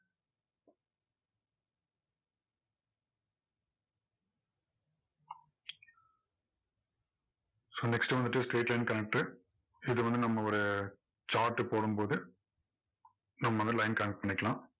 so next வந்துட்டு straight line connector ரு இது வந்து நம்ம ஒரு chart போடும் போது நம்ம வந்து line connect பண்ணிக்கலாம்.